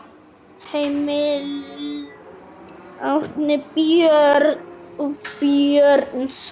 Heimild: Árni Björnsson.